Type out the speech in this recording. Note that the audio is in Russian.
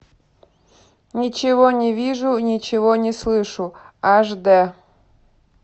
ничего не вижу ничего не слышу аш д